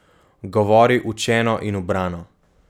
Govori učeno in ubrano.